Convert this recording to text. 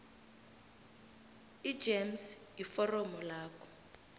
igems iforomo lakho